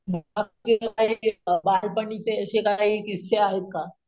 बालपणीचे असे काही किस्से आहेत का ?